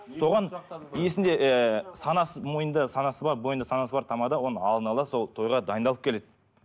соған иесінде ыыы санасы мойнында санасы бар бойында санасы бар тамада оны алдына ала сол тойға дайындалып келеді